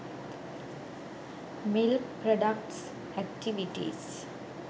milk products activities